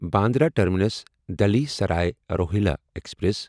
Bandra terminus Delhi Sarai Rohilla express